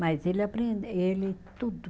Mas ele aprende, ele tudo.